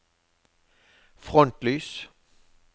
frontlys